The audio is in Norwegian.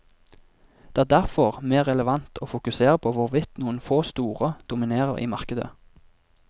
Det er derfor mer relevant å fokusere på hvorvidt noen få store dominerer i markedet.